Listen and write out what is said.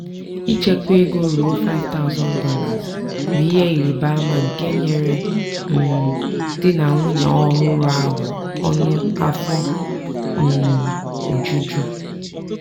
ichekwa ego ruo $5000 bụ ihe ịrabaama nke nyere um di na nwunye ọhụrụ ahụ ọṅụ afọ um ojuju.